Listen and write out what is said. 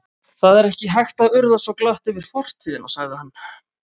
Það er ekki hægt að urða svo glatt yfir fortíðina sagði hann.